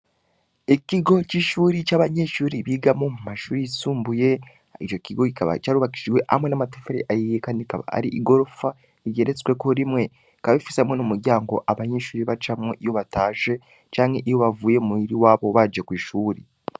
Ikigo c’ishure c’abanyeshure bigamwo mumashure yisumbuye, ico kigo kikaba cubakishijwe hamwe n’amatafari ahiye Kandi akaba ari igorofa igeretsweko rimwe, ikaba ifise hamwe n’umuryango abanyeshure bacamwo iyo batashe canke iyo bavuye muhir’iwabo baje kwishuri.